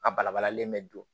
A bala balalen bɛ don